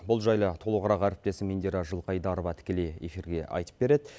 бұл жайлы толығырақ әріптесім индира жылқайдарова тікелей эфирге айтып береді